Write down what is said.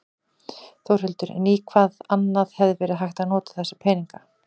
Þórhildur: En í hvað annað hefði verið hægt að nota þessa peninga?